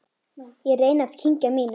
Ég reyni að kyngja mínu.